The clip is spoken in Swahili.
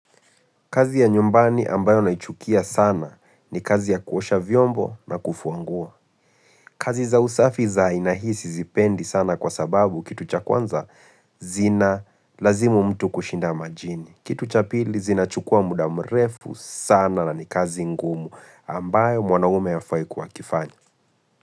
Kazi ya nyumbani ambayo naichukia sana ni kazi ya kuosha vyombo na kufua nguo. Kazi za usafi za aina hii zisipendi sana kwa sababu kitu cha kwanza zina lazimu mtu kushinda majini. Kitu cha pili zina chukua muda mrefu sana na ni kazi ngumu ambayo mwanaume hafai kuwa akifanya.